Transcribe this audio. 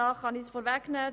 Ich kann es vorwegnehmen: